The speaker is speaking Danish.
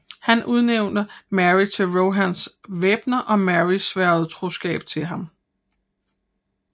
Han udnævnte Merry til Rohans væbner og Merry sværgede troskab til ham